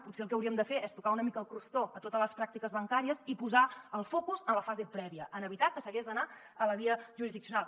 potser el que hauríem de fer és tocar una mica el crostó a totes les pràctiques bancàries i posar el focus en la fase prèvia en evitar que s’hagi d’anar a la via jurisdiccional